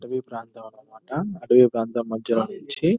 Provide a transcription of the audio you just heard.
అడవి ప్రాంతం అన్నమాట అడవి ప్రాంతం మధ్యలోనుంచ్చి --